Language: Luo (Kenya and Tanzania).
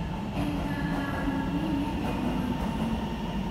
En ka hawi ni ne en kod Deeney.